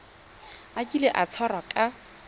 a kile a tshwarwa ka